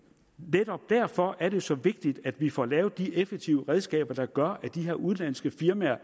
netop derfor er det så vigtigt at vi får lavet de effektive redskaber der gør at de her udenlandske firmaer